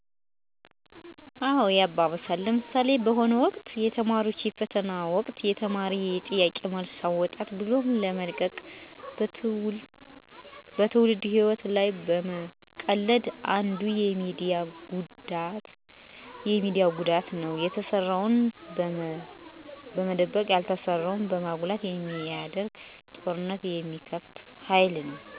አዎ ያባብሳል። ለምሣሌ፦ በሆነ ወቅት የተማሪዎች ፈተና ወቅት የተማሪ የጥያቄ መልስ አወጣን ብሎ በመልቀቅ በትውልድ ህይዎት ላይ መቀለድ አንዱ የሚዲያ ጉዳት ነው። የተሠራን በመደበቅ ያልተሠራን በማጉላት የሚዲያ ጦርነት የሚከፍቱ ሀይሎች መኖርም አንዱ ችግር ነው። አንድ ትክክለኛ አካሔድ አና ስራን በተለየ የስህተት መንገድ በማስተዋወቅ ስራዎችን ተቀባይነት እንዳይኖራቸው ያደርጋል።